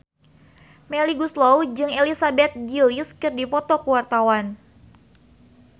Melly Goeslaw jeung Elizabeth Gillies keur dipoto ku wartawan